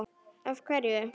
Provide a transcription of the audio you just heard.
Af hverju?